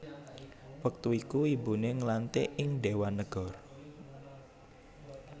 Wektu iku ibuné nglantik ing Déwan Nagara